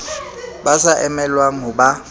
ba sa emelwang ho ba